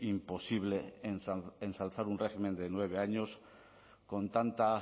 imposible ensalzar un régimen de nueve años con tanta